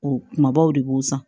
O kumabaw de b'o san